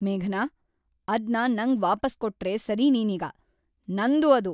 ಮೇಘನಾ, ಅದ್ನ ನಂಗ್ ವಾಪಸ್ ಕೊಟ್ರೇ ಸರಿ ನೀನೀಗ. ನಂದು ಅದು!